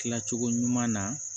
Kila cogo ɲuman na